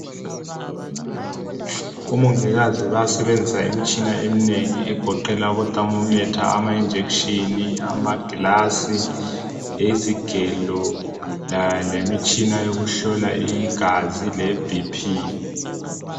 Omongikazi bayasebenzisa imitshina eminengi egoqela i-themormeter, i- injection amagilasi, izigelo lemitshina yokuhlola igazi le BP